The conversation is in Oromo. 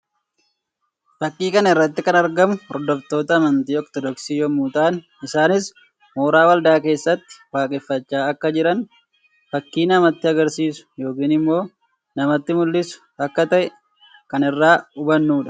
Fakkii kana irratti kan argamu hordoftoota amantii Ortodoksii yammuu ta'an; isaanis mooraa waldaa keessatti waaqeffachaa akka jiran fakkii namatti agarsiisu yookiin immoo namatti mul'isu akka ta'e kan irraa hubanuu dha.